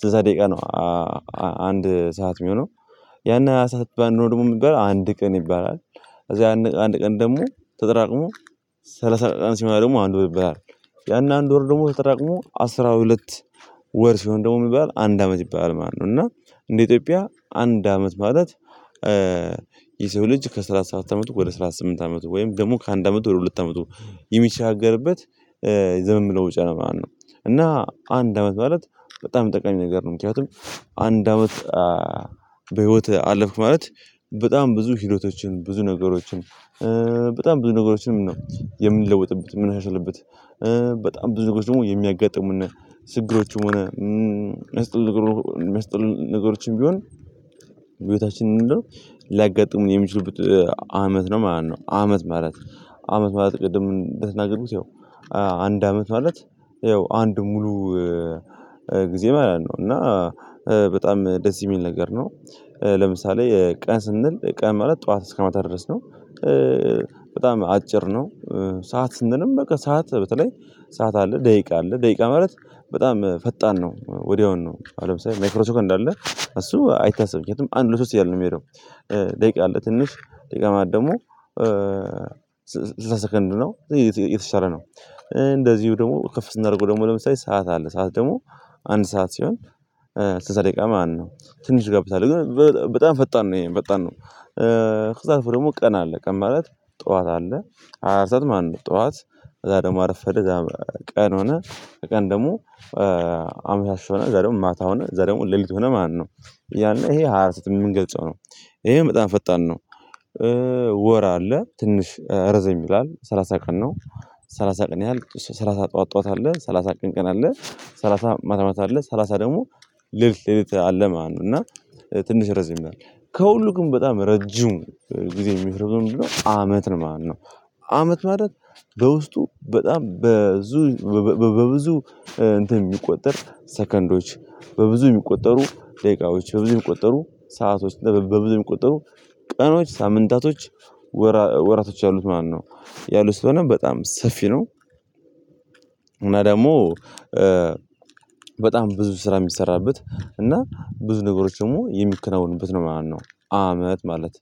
ስድስተኛ ደቂቃ ነው አንድ ሰዓት የሚሆነው ያን ሰዓት ባንኖር ደግሞ የምትባለው አንድ ቀን ይባላል። እዛ አንድ ቀን ደግሞ ተጠራቅሞ ሰላሳ አራት ሲሆን ደግሞ አንድ ወር ይበላል። ያን አንድ ወር ደግሞ ተጠራቅሞ አስራ ሁለት ወር ሲሆን ደግሞ የሚባል አንድ አመት ይባላል ማለት ነው። እና እንደ ኢትዮጵያ አንድ አመት ማለት። ልጅ ከስራ አስራ ስምንት አመቱ ወደ ስራ ስምንት አመቱ ወይም ደግሞ ከአንድ አመቱ ወደ ሁለት አመቱ የሚቻገርበት ብለው ጨለማ ነው እና አንድ አመት ማለት በጣም ጠቃሚ ነገር ነው። ምክንያቱም አንድ በህይወትህ አለፍክ ማለት በጣም ብዙ ህይወቶችን ብዙ ነገሮችን በጣም ብዙ ነገሮችንም ነው የምንለውጥበት ምን ያሻልበት። በጣም ብዙ ነገሮች ደግሞ የሚያጋጥሙና ስክሮችም ሆነ መስጠት መስጠት ነገሮችም ቢሆን ቤታችንን ሊያጋጥሙ የሚችሉት አመት ነው ማለት ነው አመት ማለት አመት ማለት ቅድም እንደተናገሩት ያው አንድ አመት ማለት ያው አንድ ሙሉ ጊዜ ማለት ነው። እና በጣም ደስ የሚል ነገር ነው። ለምሳሌ ቀን ስንል ቀን መረጥ ጠዋት እስከመታ ድረስ ነው በጣም አጭር ነው። ሰዓት ስንልም በቃ ሰዓት በተለይ ሰዓት አለ ደቂቃ አለ ደቂቃ ማለት በጣም ፈጣን ነው ወዲያውኑ ነው አለም ሰው ማይክሮ ሰከንድ እንዳለ እሱ አይታሰብም ምክንያቱም አንድ ለሶስት እያልን ነው። የምሄደው ደቂቃ አለ ትንሽ ደቂቃ ማድረግ ደግሞ ስሰሰከንድ ነው የተሻለ ነው። እንደዚሁ ደግሞ ከፍ ስናደርገው ደግሞ ለምሳሌ ሰዓት አለ ሰዓት ደግሞ አንድ ሰዓት ሲሆን ትንሽ ደቂቃ ማነው ትንሽ ገብተሃል ግን በጣም ፈጣን ነው ይሄ ፈጣን ነው። እህት አልፎ ደግሞ ቀና አለ ቀን ባለት ጠዋት አለ አርሰን አንድ ጠዋት ከዛ ደግሞ አረፈደ ከዛ ቀን ሆነ ቀን ደግሞ አምሻሽ ሆነ ዛሬውም ማታ ሆነ ዛሬውም ሌሊት ሆነ ማነው ያኔ ይሄ ሀርተት የምንገልጸው ነው ይሄ በጣም ፈጣን ነው። ወር አለ ትንሽ ረዘም ይላል ሰላሳ ቀን ነው ሰላሳ ቀን ያህል ሰላሳ ጠዋት ጠዋት አለ ሰላሳ ቀን ቀን አለ ሰላሳ ማታ ማታ አለ ሰላሳ ደግሞ ልድት ልድት አለ ማን ነው እና ትንሽ ረዘም ከሁሉም በጣም ረጁም ጊዜ የሚሽር ብዙ ነው የምንለው አመት ነው። ማን ነው አመት ማለት በውስጡ በጣም በብዙ በብዙ እንትን የሚቆጠር ሰከንዶች በብዙ የሚቆጠሩ ደቂቃዎች በብዙ የሚቆጠሩ ሰአቶች በብዙ የሚቆጠሩ ቀኖች ሳምንታቶች ወራቶች ያሉት ማነው ያሉት ስለሆነ በጣም ሰፊ ነው። ደግሞ በጣም ብዙ ስራ የሚሰራበት እና ብዙ ነገሮች ደግሞ የሚከናወኑበት ነው ማለት ነው። አመት ማለት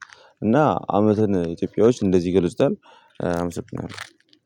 እና አመትን ኢትዮጵያዎች እንደዚህ ይገድስታል አምስት ነው።